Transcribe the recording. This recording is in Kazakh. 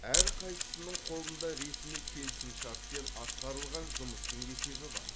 әрқайсысының қолында ресми келісімшарт пен атқарылған жұмыстың есебі бар